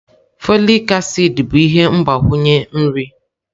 Folik acid bụ ihe mgbakwunye nri.